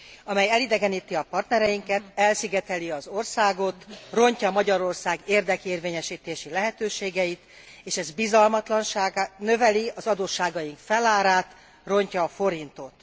amely elidegeníti a partnereinket, elszigeteli az országot, rontja Magyarország érdekérvényesítési lehetőségeit, és ez növeli az adósságaink felárát, rontja a forintot.